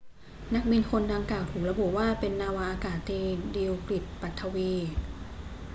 นักบินคนดังกล่าวถูกระบุว่าเป็นนาวาอากาศตรีดิลกฤทธิ์ ปัถวี